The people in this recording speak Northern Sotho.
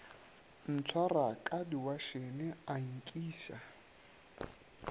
ntshwara ka diwatšhene a nkiša